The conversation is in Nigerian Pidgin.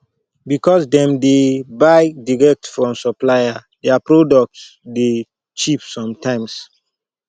because dem dey buy direct from supplier their producs dey cheap sometimes